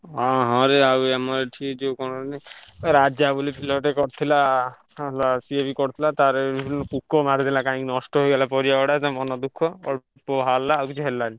ହଁ ହଁ ରେ ଆଉ ଆମର ଏଠି ଯୋଉ କଣ କୁହନି ରାଜା ବୋଲି ପିଲାଟେ କରିଥିଲା ହେଲା ସିଏ ବି କରିଥିଲା ତାର ହେଇଯାଇଛନ୍ତି ପୋକ ମାରିଦେଲା କାହିଁକି ନଷ୍ଟ ହେଇଗଲା ପରିବାଗୁଡା ତା ମନ ଦୁଃଖ ଅଳ୍ପ ବାହାରିଲା ଆଉ କିଛି ହେଲାନି।